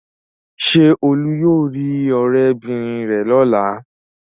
Ṣé Olú yóò rí ọ̀rẹ́bìnrin rẹ̀ lọ́la?